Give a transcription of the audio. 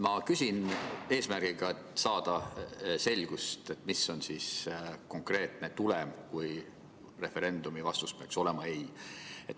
Ma küsin eesmärgiga saada selgust, mis on konkreetne tulem, kui referendumi vastus peaks olema ei.